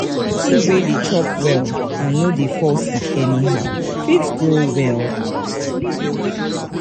Pikin wey de chop well and no de fall sick anyhow fit grow well